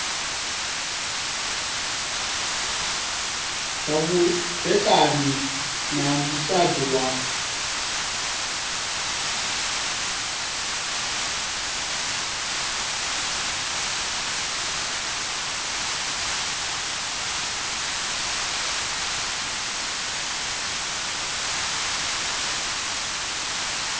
zwa vhudzekani na musadzi wa